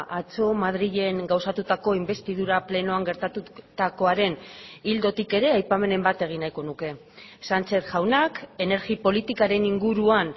atzo madrilen gauzatutako inbestidura plenoan gertatutakoaren ildotik ere aipamenen bat egin nahiko nuke sánchez jaunak energia politikaren inguruan